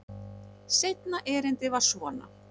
Seinna erindið var svona: